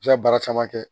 I bɛ se ka baara caman kɛ